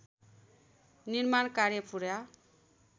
निर्माण कार्य पूरा